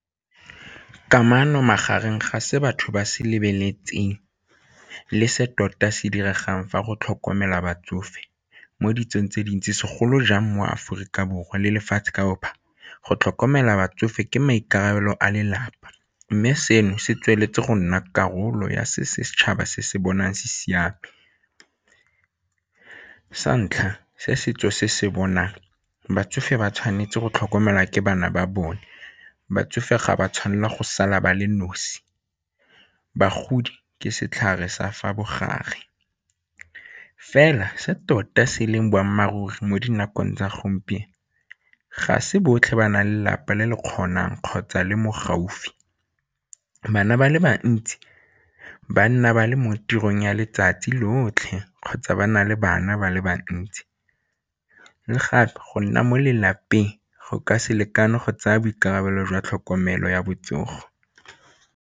Kamano magareng ga se batho ba se lebeletseng le se tota se diregang fa go tlhokomela batsofe mo ditsong tse dintsi segolo jang mo Aforika Borwa le lefatshe ka opa go tlhokomela batsofe ke maikarabelo a lelapa mme seno se tsweletse go nna karolo ya setšhaba se se bonang se siame. Sa ntlha se setso se se bonang, batsofe ba tshwanetse go tlhokomela ke bana ba bone batsofe ga ba tshwanela go sala ba le nosi, bagodi ke setlhare sa fa bogare fela se tota se e leng boammaaruri mo dinakong tsa gompieno ga se botlhe ba nang le lelapa le le kgonang kgotsa le mo gaufi. Bana ba le bantsi ba nna ba le mo tirong ya letsatsi lotlhe kgotsa ba na le bana ba le bantsi le gape go nna mo lelapeng go ka se lekane go tsaya boikarabelo jwa tlhokomelo ya botsogo.